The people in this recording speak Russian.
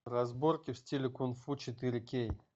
разборки в стиле кунг фу четыре кей